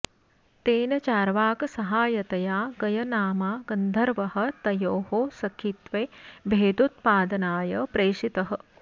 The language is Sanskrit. तेन चार्वाकसहायतया गयनामा गन्धर्वः तयोः सखित्वे भेदोत्पादनाय प्रेषितः